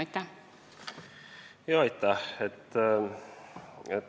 Aitäh!